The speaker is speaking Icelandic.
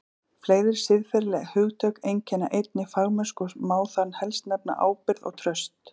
Fleiri siðferðileg hugtök einkenna einnig fagmennsku og má þar helst nefna ábyrgð og traust.